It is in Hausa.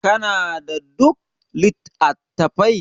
kana da duk lit? attafai